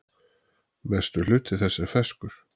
Mestur hluti þess er ferskur.